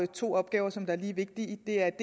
to opgaver som er lige vigtige der er